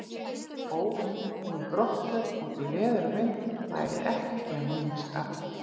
Óundirbúin brottför út í veður og vind væri ekki að mínu skapi.